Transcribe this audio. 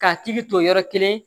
K'a hakili to yɔrɔ kelen